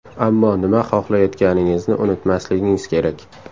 Ammo nima xohlayotganingizni unutmasligingiz kerak.